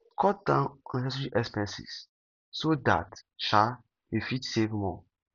cut down unnessecary expenses so that um you go fit save more